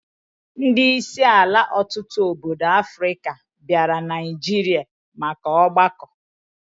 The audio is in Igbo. Ndi isi ala otutu obodo Africa biara Naijiria maka ogbako